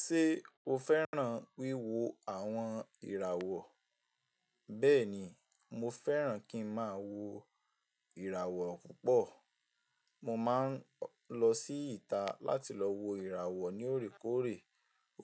Ṣé o fẹ́ràn wíwo àwọn ìràwọ̀? Bẹ́ẹ̀ni, mo fẹ́ràn kí ń máa wo ìràwọ̀ púpọ̀. Mo máa ń lọ sí ìta láti lọ wo ìràwọ̀ ní òrékòóre.